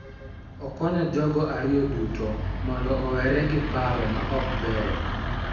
Okonyo jogo ariyo duto mondo owere gi paro ma ok beyo,